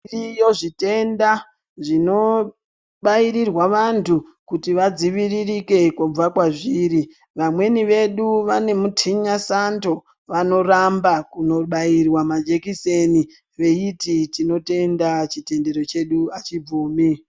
Zviriyo zvitenda zvinobairirea vantu kuti vadziviririke kubva kwazviri vamweni vedu vanotinwa sando vanorapwa Kubairwa majekiseni eiti tinotenda chitendero chedu.